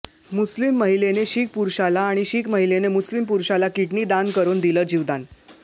मुस्लिम महिलेने शिख पुरुषाला आणि शिख महिलेने मुस्लिम पुरुषाला किडनी दान करून दिलं जीवदान